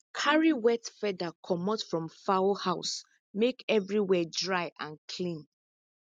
carry wet feather comot from fowl house make everywhere dry and clean